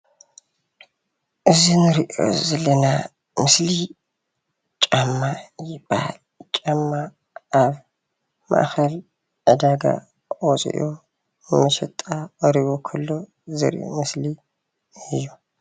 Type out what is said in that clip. እዚ እንሪኦ ዘለና ምስሊ ጫማ ይባሃል፡፡ ጫማ ኣብ ማእከል ዕዳጋ ወፂኡ ንመሸጣ ቀሪቡ ከሎ ዘርኢ ምስሊ እዩ፡፡